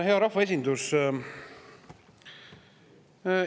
Hea rahvaesindus!